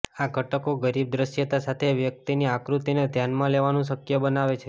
આ ઘટકો ગરીબ દૃશ્યતા સાથે વ્યક્તિની આકૃતિને ધ્યાનમાં લેવાનું શક્ય બનાવે છે